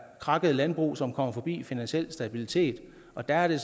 krakkede landbrug som kommer forbi finansiel stabilitet og der er der